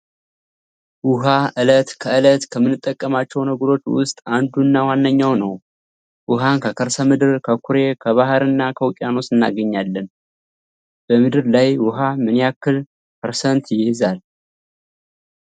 ውሃ እለት ከእለት ከምንጠቀማቸው ነገሮች ውስጥ አንዱ እና ዋነኛው ነው። ውሃን ከከርሰ ምድር፣ ከኩሬ፣ ከባህር እና ከውቅያኖሶች እናገኛለን። በምድር ላይ ውሃ ምን ያክል ፐርሰንት ይይዛል?